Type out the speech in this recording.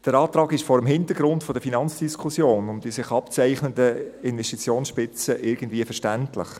Der Antrag ist vor dem Hintergrund der Finanzdiskussion der sich abzeichnenden Investitionsspitze irgendwie verständlich.